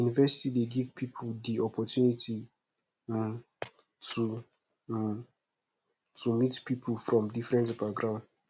university dey give pipo di opportunity um to um to meet pipo from different background